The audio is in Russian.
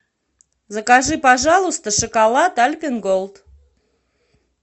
закажи пожалуйста шоколад альпен голд